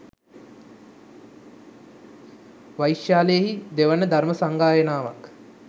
වෛශාලියෙහි දෙවන ධර්ම සංගායනාවක්